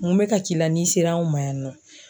Mun bɛ ka k'i la n'i sera anw ma yan nɔ ?